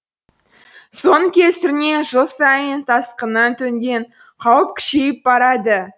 соның кесірінен жыл сайын тасқыннан төнген қауіп күшейіп барады